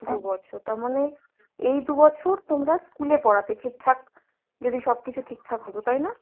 দু'বছর তারমানে এই দু'বছর তোমরা school এ পড়াতে ঠিকঠাক যদি সবকিছু ঠিকঠাক হতো তাই না?